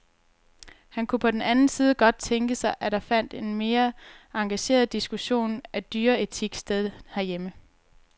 Han kunne på den anden side godt tænke sig, at der fandt en mere engageret diskussion af dyreetik sted herhjemme.